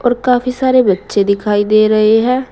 और काफी सारे बच्चे दिखाई दे रहे हैं।